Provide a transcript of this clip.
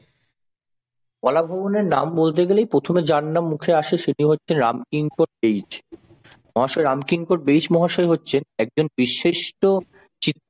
কলা ভবনের নাম বলতে গেলেই প্রথমে যার নাম মুখে আসে তিনি হচ্ছে রামকিঙ্কর বেইজ। মহাশয় রামকিঙ্কর বেইজ মহাশয় হচ্ছেন একজন বিশিষ্ট চিৎ